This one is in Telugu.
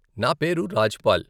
నా పేరు రాజ్ పాల్.